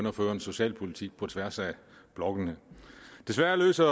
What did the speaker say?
at føre en socialpolitik på tværs af blokkene desværre løser